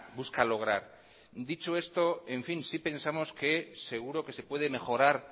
busca lograr dicho esto en fin sí pensamos que seguro que se puede mejorar